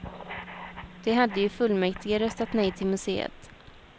De hade i fullmäktige röstat nej till museet.